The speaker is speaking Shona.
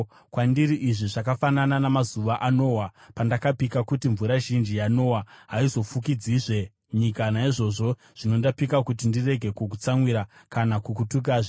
“Kwandiri izvi zvakafanana namazuva aNoa, pandakapika kuti mvura zhinji yaNoa haizofukidzizve nyika. Naizvozvo zvino ndapika kuti ndirege kukutsamwira, kana kukutukazve.